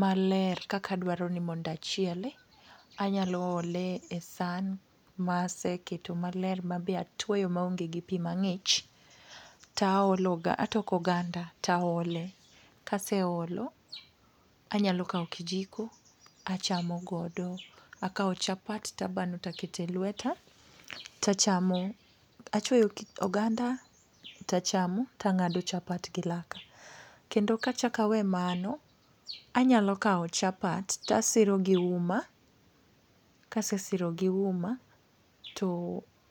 maler kaka aduaro ni mondo achiele. Anyalo ole e san, ma ase keto maler mabe atuoyo maonge gi pima ng'ich. To aologa, atoko oganda, to aole. Kaseolo, anyalo kao kijiko, achamo godo, akao chapat tabano takete lweta, tachamo. Achwoyo oganda, tachamo tang'ado chapat gi laka. Kendo kachak awe mano, anyalo kawo chapat, tasiro gi uma, kasesiro gi uma, to